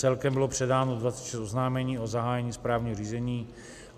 Celkem bylo předáno 26 oznámení o zahájení správního řízení.